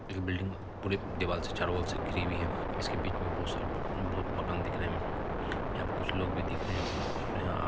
इक बिल्डिंग पूरी दीवारों से चारों ओर से घिरी हुई है। इसके बीच में बहुत सारे बहुत मकान दिख रहे हैं। यहां पे कुछ लोग भी दिख रहे हैं। यहां --